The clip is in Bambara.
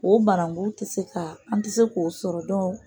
O barangun tɛ se ka an tɛ se k'o sɔrɔ dɔn.